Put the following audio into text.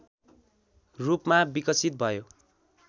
रूपमा विकसित भयो